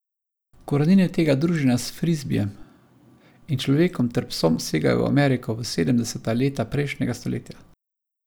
Korenine tega druženja s frizbijem in človekom ter psom segajo v Ameriko v sedemdeseta leta prejšnjega stoletja.